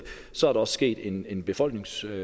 så er der også sket en en befolkningstilgang